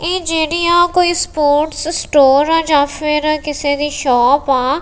ਇਹ ਜਿਹੜੀਆਂ ਕੋਈ ਸਪੋਰਟਸ ਸਟੋਰ ਆ ਜਾਂ ਫਿਰ ਕਿਸੇ ਦੀ ਸ਼ੋਪ ਆ।